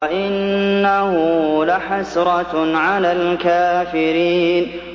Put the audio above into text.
وَإِنَّهُ لَحَسْرَةٌ عَلَى الْكَافِرِينَ